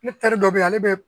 Ne teri dɔ bɛ yen ale bɛ